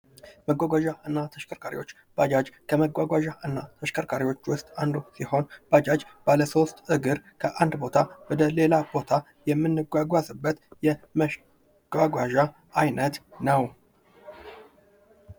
መጓጓዣና ተሽከርካሪዎች ባጃጅ ከመጓጓዣና ተሽከርካሪዎች ውስጥ አንዱ ሲሆን፤ ባጃጅ ባለሶስት እግር ከአንድ ቦታ ወደሌላ ቦታ የምንጓጓዝበት የመጓጓዣ አይነት ነው።